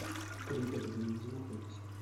пригородная где находится